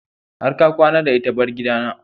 Har ka kwana da ita! bar gidana.